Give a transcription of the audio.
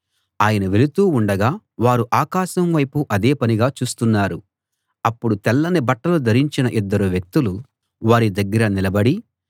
ఆయన వెళుతూ ఉండగా వారు ఆకాశం వైపు అదే పనిగా చూస్తున్నారు అప్పుడు తెల్లని బట్టలు ధరించిన ఇద్దరు వ్యక్తులు వారి దగ్గర నిలబడి